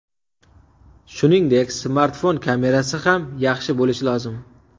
Shuningdek, smartfon kamerasi ham yaxshi bo‘lishi lozim.